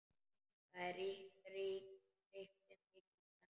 Það ríkti mikil spenna.